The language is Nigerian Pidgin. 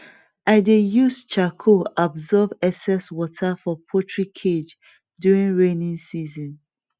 i dey use charcoal absorb excess water for poultry cage during rainy season